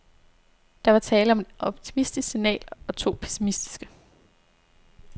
Der var tale om et optimistisk signal og to pessimistiske.